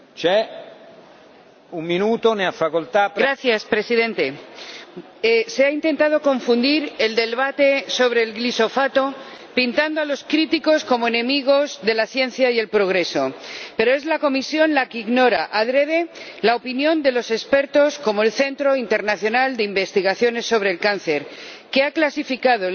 Señor Presidente, se ha intentado confundir el debate sobre el glifosato pintando a los críticos como enemigos de la ciencia y el progreso, pero es la Comisión la que ignora intencionadamente la opinión de los expertos, como el Centro Internacional de Investigaciones sobre el Cáncer, que ha clasificado el glifosato como probablemente